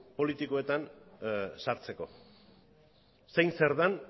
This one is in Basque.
politikoetan sartzeko zein zer den